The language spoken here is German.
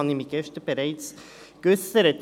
Dazu habe ich mich gestern bereits geäussert.